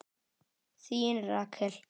Þín Rakel.